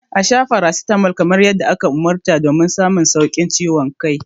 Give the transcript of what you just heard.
A sha paracetamol kamar yadda aka ta don samun maganin ciwon kai mai inganci.